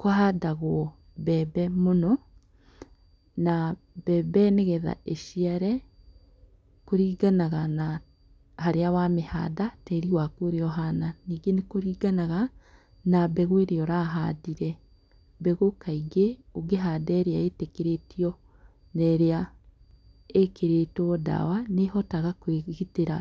Kũhandagwo mbembe mũno na mbembe nĩgetha ĩciare kũringanaga na harĩa wamĩhanda tĩri waku ũria ũhana ningĩ nĩkũringanaga na mbegũ ĩrĩa ũrahandire mbegũ kaingĩ ũngĩhanda ĩrĩa ĩtĩkĩrĩtio na ĩrĩa ĩkĩrĩtwo ndawa nĩĩhotaga kwĩgitĩra